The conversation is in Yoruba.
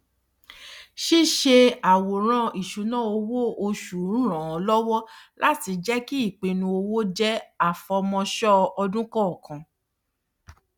ṣíṣe àwòrán isunawo oṣù ràn lówọ láti jẹ kí ipinnu owó jẹ àfọmọṣọ ọdún kọọkan